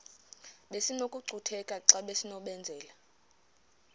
besinokucutheka xa besinokubenzela